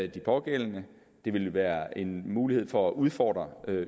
de pågældende det vil være en mulighed for at udfordre